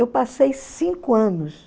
Eu passei cinco anos